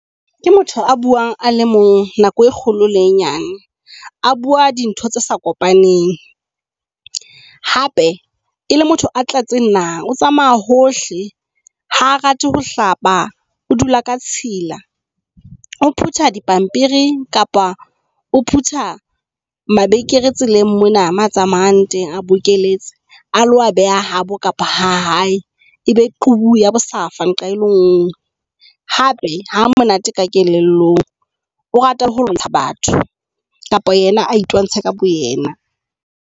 Ke motho a buang a le mong nako e kgolo le e nyane. A bua dintho tse sa kopaneng hape e le motho a tletseng naha yohle a tsamaya hohle. Ha rate ho hlapa. O dula ka tshila, o phutha dipampiri kapa o phutha mabenkele tseleng mona mo a tsamayang teng a bokeletse. A lo a beha habo kapa ha hae ebe qubu ya bohlaswa nqa e le ngwe. Hape ha monate ka kelellong o rata ho lwantsha batho kapa yena a itwantshe ka bo yena.